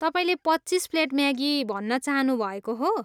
तपाईँले पच्चिस plate Maggi भन्न चाहनुभएको हो?